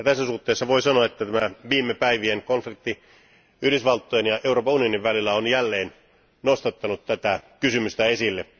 Tässä suhteessa voi sanoa, että tämä viime päivien konflikti Yhdysvaltojen ja Euroopan unionin välillä on jälleen nostattanut tätä kysymystä esille.